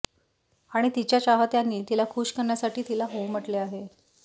आणि तिच्या चाहत्यांनी तिला खूश करण्यासाठी तिला हो म्हटले आहे